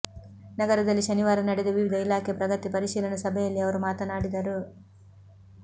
ನಗರದಲ್ಲಿ ಶನಿವಾರ ನಡೆದ ವಿವಿಧ ಇಲಾಖೆ ಪ್ರಗತಿ ಪರಿಶೀಲನಾ ಸಭೆಯಲ್ಲಿ ಅವರು ಮಾತನಾಡಿದರು